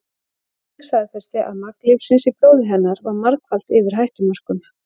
Krufning staðfesti að magn lyfsins í blóði hennar var margfalt yfir hættumörkum.